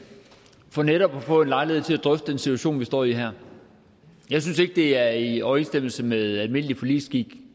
for netop at få lejlighed til at drøfte den situation vi står i her jeg synes ikke det er i overensstemmelse med almindelig forligsskik